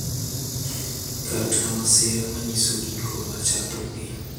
kata masira ma nyiso giko mar chakruokgi .